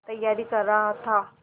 तैयारी कर रहा था